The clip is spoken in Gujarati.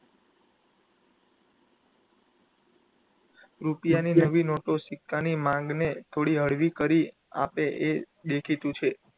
રૂપિયાની નવી નોટો સિક્કાની માંગણી થોડી હળવી કરી આપે એ દેખીતું છે.